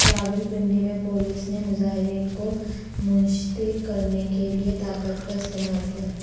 راولپنڈی میں پولیس نے مظاہرین کو منشتر کرنے کے لیے طاقت کا استعمال کیا